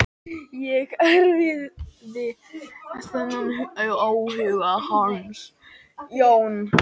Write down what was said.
Ég erfði þennan áhuga hans.